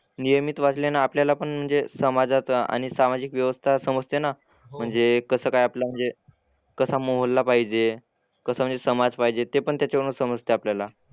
नियमित वाचल्याने आपल्याला पण म्हणजे समाजात आणि सामाजिक व्यवस्था समजते ना . म्हणजे कसं काय आपलं म्हणजे कसा मोहल्ला पाहिजे, कसा म्हणजे समाज पाहिजे ते पण त्याच्यावरूनच समजतं आपल्याला.